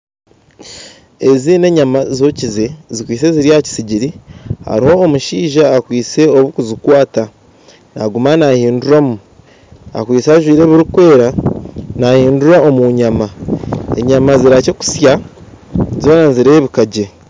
Ezi n'enyama zookiize zikwitsye ziri aha kisigiri hariho omushaija akwistye obukuzikwata naguma nahiduuramu akwitse ajwire ebirikwera nahinduura omu nyaama, enyaama zirihakye kutsya zoona nizireebeka gye